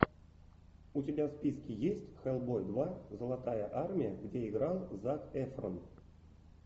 у тебя в списке есть хеллбой два золотая армия где играл зак эфрон